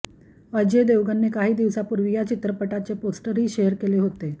अजय देवगनने काही दिवसांपूर्वी या चित्रपटाचे पोस्टरही शेअर केले होते